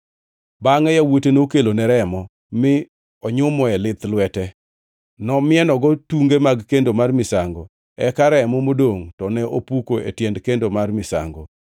Bangʼe yawuote nokelone remo, mi onyumoe lith lwete, nomienogo tunge mag kendo mar misango, eka remo modongʼ to ne opuko e tiend kendo mar misango.